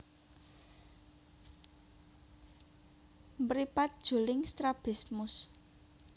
Mripat juling strabismus